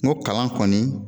Ŋo kalan kɔni